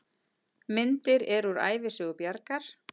Myndir eru úr Ævisögu Bjargar.